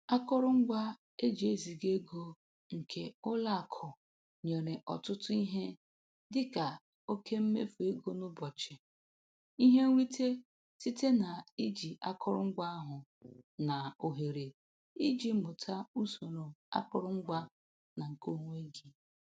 Akụrụngwa e ji eziga ego nke ụlọ akụ nyere ọtụtụ ihe dịka oke mmefu ego n'ụbọchị, ihe nrite site na-iji akụrụngwa ahụ, na ohere iji ịmụta usoro akụrụngwa na nke onwe gị